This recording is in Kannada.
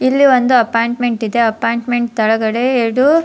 ಇಲ್ಲಿ ಒಂದು ಅಪ್ಪೋಯಿಂಟ್ಮೆಂಟ್ ಇದೆ ಅಪ್ಪೋಯಿಂಟ್ಮೆಂಟ್ ತಲಗಡೆ ಎರಡು --